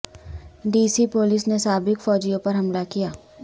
D C police نے سابق فوجیوں پر حملہ کیا